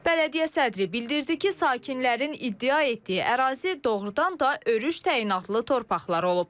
Bələdiyyə sədri bildirdi ki, sakinlərin iddia etdiyi ərazi doğurdan da örüş təyinatlı torpaqlar olub.